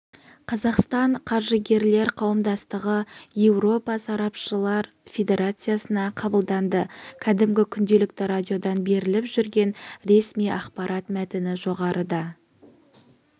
қазақстан қаржыгерлер қауымдастығы еуропалық сарапшылар федерациясына қабылданды кәдімгі күнделікті радиодан беріліп жүрген ресми ақпарат мәтіні жоғарыда